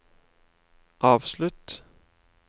avslutt